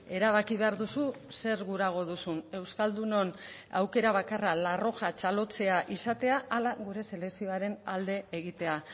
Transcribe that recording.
erabaki behar duzu zer gurago duzun euskaldunon aukera bakarra la roja txalotzea izatea ala gure selekzioaren alde egitea